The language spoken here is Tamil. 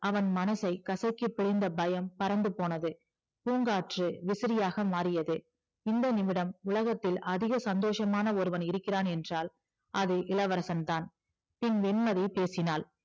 அவன் மனசை கசக்கி பிழிந்த பயம் பறந்து போனது பூங்காற்று விசிறியாக மாறியது இந்த நிமிடம் உலகத்தில் அதிக சந்தோசமான ஒருவன் இருக்கிறான் என்றால் அது இளவரசன் தான் பின் வெண்மதி பேசினாள்